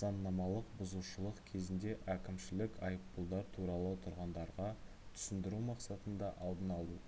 заңнамалық бұзушылық кезінде әкімшілік айыппұлдар туралы тұрғындарға түсіндіру мақсатында алдын алу